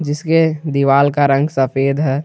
इसके दीवाल का रंग सफेद है।